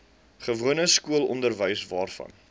gewone skoolonderwys waarvan